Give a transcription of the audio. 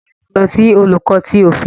Ṣe iwọ yoo lo si Olùkọ tí òfin?